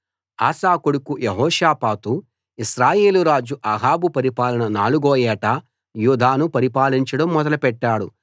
ఆసా కొడుకు యెహోషాపాతు ఇశ్రాయేలు రాజు అహాబు పరిపాలన నాలుగో ఏట యూదాను పరిపాలించడం మొదలెట్టాడు